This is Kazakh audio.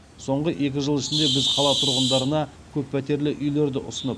соңғы екі жыл ішінде біз қала тұрғындарына көппәтерлі үйлерді ұсынып